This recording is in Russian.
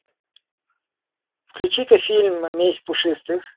включи ка фильм месть пушистых